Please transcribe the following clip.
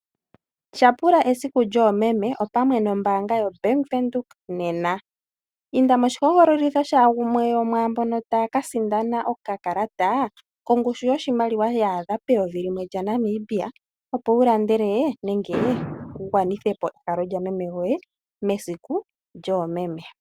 Tyapula esiku lyoomeme opamwe nombaanga yoBank Windhoek nena. Inda moshihogololitho shagumwe gwomwaambono taya kasindana okakalata kongushu yoshimaliwa oondola dhaNamibia eyovi, opo wu gwanithe po ehalo lyameme goye mesiku lyoomeme.